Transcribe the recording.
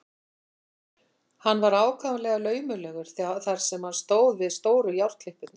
Hann var ákaflega laumulegur þar sem hann stóð við stóru járnklippurnar.